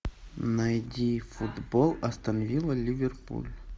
найди футбол астон вилла ливерпуль